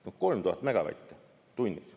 See on 3000 megavatti tunnis.